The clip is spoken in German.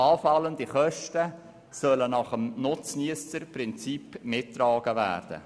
Anfallende Kosten sollen also nach dem Nutzniesser-Prinzip mitgetragen werden.